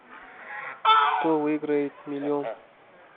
кто выиграет миллион